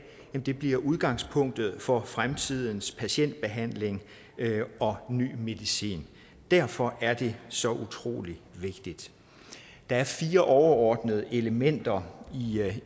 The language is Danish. bliver udgangspunktet for fremtidens patientbehandling og ny medicin derfor er det så utrolig vigtigt der er fire overordnede elementer